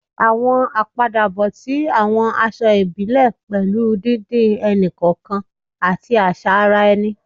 Àwọn àpadàbọ̀ ti àwọn aṣọ ìbílẹ̀ pẹ̀lú didin ẹni-kọọkan àti àṣà ara ẹni